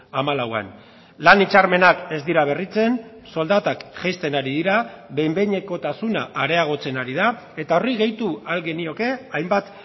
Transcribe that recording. hamalauan lan hitzarmenak ez dira berritzen soldatak jaisten ari dira behin behinekotasuna areagotzen ari da eta horri gehitu ahal genioke hainbat